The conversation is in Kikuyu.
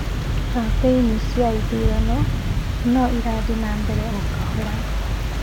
Kampĩini cia ithurano no irathii na mbere o kahora